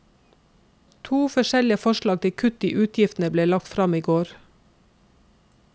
To forskjellige forslag til kutt i utgiftene ble lagt frem i går.